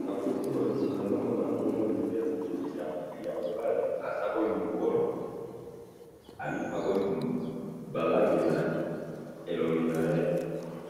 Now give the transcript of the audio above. na photo oyo nazomona bongo ndeko ya mobali, asi akomi mukolo, alipakoli ba rangi na elongi naye